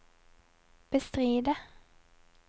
bestride